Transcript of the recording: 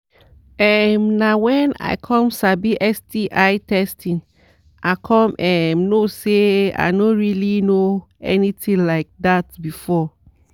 um na when i come sabi sti testing i come um know say i no really know anything like that before."